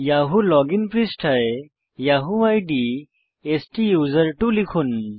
Yahoo login পৃষ্ঠায় Yahoo ID স্তুসের্ত্ব লিখুন